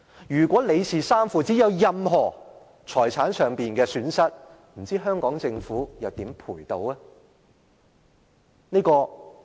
如果李氏三父子有任何財產上的損失，不知道香港政府又如何賠償呢？